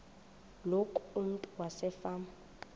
loku umntu wasefama